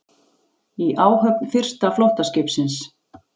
Í áhöfn fyrsta flóttaskipsins